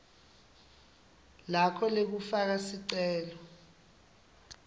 lakho lekufaka sicelo